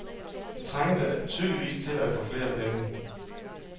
De trængte tydeligvis at få flere penge.